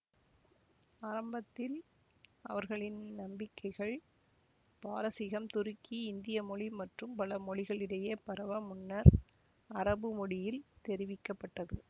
ஆரம்பத்தில் அவர்களின் நம்பிக்கைகள் பாரசீகம் துருக்கி இந்தியமொழி மற்றும் பல மொழிகளிடையே பரவ முன்னர் அரபுமொழியில் தெரிவிக்க பட்டது